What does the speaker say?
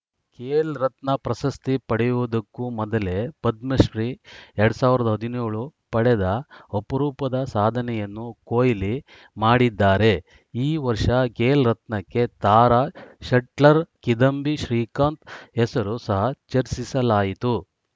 ಖೇಲ್‌ ರತ್ನ ಪ್ರಶಸ್ತಿ ಪಡೆಯುವುದಕ್ಕೂ ಮೊದಲೇ ಪದ್ಮಶ್ರೀ ಎರಡ್ ಸಾವಿರದ ಹದಿನೇಳು ಪಡೆದ ಅಪರೂಪದ ಸಾಧನೆಯನ್ನು ಕೊಹ್ಲಿ ಮಾಡಿದ್ದಾರೆ ಈ ವರ್ಷ ಖೇಲ್‌ ರತ್ನಕ್ಕೆ ತಾರಾ ಶಟ್ಲರ್‌ ಕಿದಂಬಿ ಶ್ರೀಕಾಂತ್‌ ಹೆಸರು ಸಹ ಚರ್ಚಿಸಲಾಯಿತು